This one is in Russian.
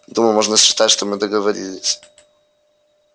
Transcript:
думаю можно считать что мы договорились